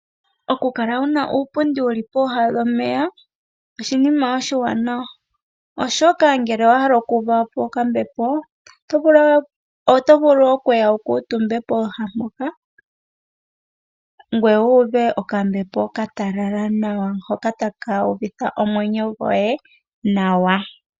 Oku kala wuna uupundi wuli pooha dhomeya oshinima oshi wa nawa oshoka ngele owa hala oku uvapo okambepo oto vulu okuya wu kutumbe pooha mpoka, ngoye wu uve okambepo ka talala nawa hoka taka uvitha omwenyo goye nawa.